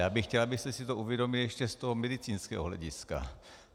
Já bych chtěl, abyste si to uvědomili ještě z toho medicínského hlediska.